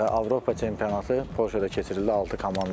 Avropa çempionatı Polşada keçirildi, altı komanda.